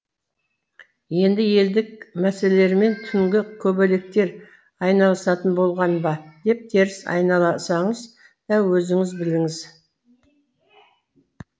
енді елдік мәселелермен түнгі көбелектер айналысатын болған ба деп теріс айналсаңыз да өзіңіз біліңіз